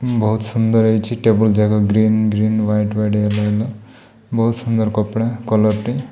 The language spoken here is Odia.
ବହୁତ ସୁନ୍ଦର ହୋଇଛି ଟେବୁଲଜାକ green green white white yellow yellow ବହୁତ ସୁନ୍ଦର କପଡ଼ା କଲର